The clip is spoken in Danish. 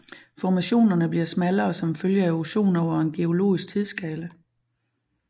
Formationerne bliver smallere som følge af erosion over en geologisk tidsskala